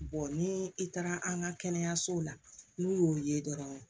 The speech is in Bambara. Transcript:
ni i taara an ka kɛnɛyasow la n'u y'o ye dɔrɔn